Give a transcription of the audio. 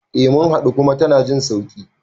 Eh mun haɗu kuma tana jin sauƙi